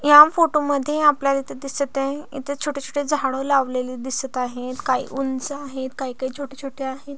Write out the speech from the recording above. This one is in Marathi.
या फोटो मध्ये आपल्याला इथ दिसत आहे इथे छोटे छोटे झाडे लावलेले दिसत आहेत काही उंच आहेत काही काही छोटे छोटे आहे.